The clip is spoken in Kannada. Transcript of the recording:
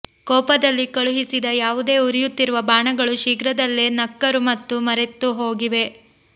ಕೋಪದಲ್ಲಿ ಕಳುಹಿಸಿದ ಯಾವುದೇ ಉರಿಯುತ್ತಿರುವ ಬಾಣಗಳು ಶೀಘ್ರದಲ್ಲೇ ನಕ್ಕರು ಮತ್ತು ಮರೆತುಹೋಗಿವೆ